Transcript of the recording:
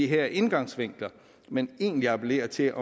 her indgangsvinkler men egentlig appellere til